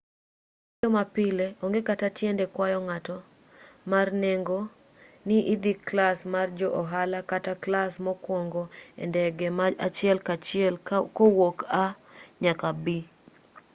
e wuoyo ma pile onge kata tiende kwayo ng'eto mar nengo ne idho klas mar jo ohala kata klas mokuongo e ndege ma achiel kachiel kowuok a nyaka b